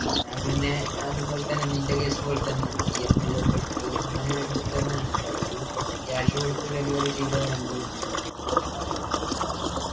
ഞൻ പിന്നെ അതുപോലെതന്നെ നിൻ്റെ case പോലെത്തന്നെയാണ് EMI ഒക്കെ എടുത്ത് അങ്ങനെ എടുത്ത് തന്നയാണ് അപ്പൊ full cash കൊടുത്ത deliver ചെയ്ത വണ്ടിയൊന്നും അല്ല